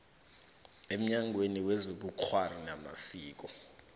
emnyangweni wezobukghwari namasiko